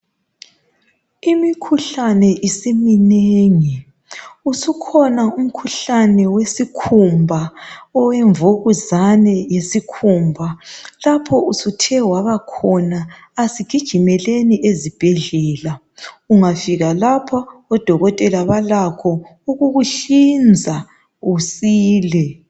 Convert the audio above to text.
Imikhuhlane isiminengi usukhona umkhuhlane wesikhumba owemvukuzane lesikhumba lapho usuthe wabakhona asigijimeleni ezibhedlela ungafika lapha odokotela balakho ukukuhlinza usile.